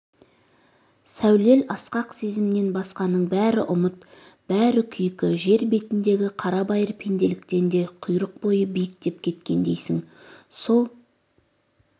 сәулел асқақ сезімнен басқаның бәрі ұмыт бәрі күйкі жер бетндег қарабайыр пенделіктен де құрық бойы биіктеп кеткендейсің сол